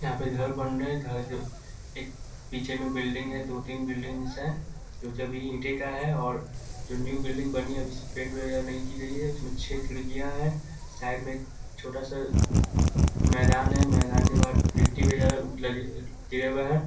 यहाँ पे घर बन रहे है घर के एक पीछे में बिल्डिंग है दो-तीन बिल्डिंग्स हैं जो अभी ईटे का है और जो न्यू बिल्डिंग बनी है अभी पेंट वैगरह नहीं की गई है उसमें छः खिड़कियाँ हैं साइड में एक छोटा-सा मैदान है मैदान के बाद गिट्टी वगेरा लगी गिरे हुए हैं।